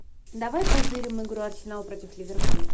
давай позырим игру арсенал против ливерпуль